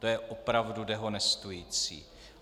To je opravdu dehonestující.